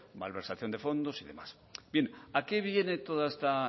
malversación de fondos y demás bien a qué viene toda esta